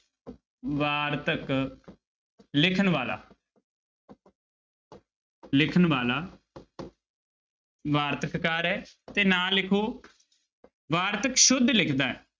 ਵਾਰਤਕ ਲਿਖਣ ਵਾਲਾ ਲਿਖਣ ਵਾਲਾ ਵਾਰਤਕ ਕਾਰ ਹੈ ਤੇ ਨਾਲ ਲਿਖੋ ਵਾਰਤਕ ਸੁੱਧ ਲਿਖਦਾ ਹੈ।